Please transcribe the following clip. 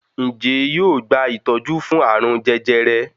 Njé yóò gba itọju fún arun jẹjẹrẹ?